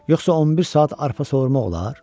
Yoxsa 11 saat arpa sovurmaq olar?